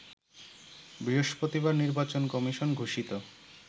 বৃহস্পতিবার নির্বাচন কমিশন ঘোষিত